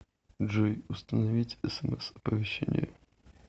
джой установить смс оповещение